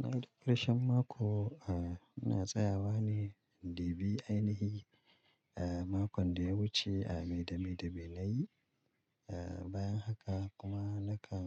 Naidukkarshan mako, a, na tsayawa ne, d bi ainihi, eh, makon da ya wuce a Maidame de Benaye. Eh, bayan haka kuma nakan,